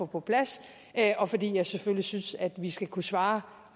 på plads og fordi jeg selvfølgelig synes at vi skal kunne svare